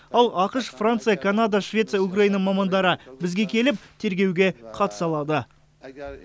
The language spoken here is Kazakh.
ал ақш франция канада швеция украина мамандары бізге келіп тергеуге қатыса алады